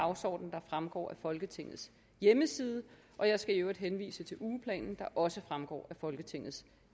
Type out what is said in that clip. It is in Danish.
dagsorden der fremgår af folketingets hjemmeside og jeg skal i øvrigt henvise til ugeplanen der også fremgår af folketingets